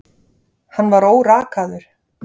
Hann var órakaður.